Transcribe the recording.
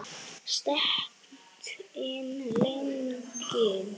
Stéttin slegin?